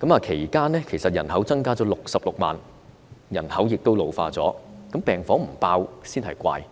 水平，其間人口卻增加了66萬，人口亦老化，病房不爆滿才怪。